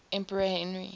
emperor henry